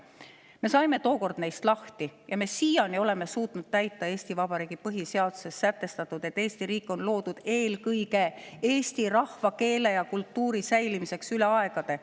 Me saime neist tookord lahti ja senimaani oleme suutnud täita Eesti Vabariigi põhiseaduses sätestatut, et Eesti riik on loodud eelkõige eesti rahvuse, keele ja kultuuri säilimiseks läbi aegade.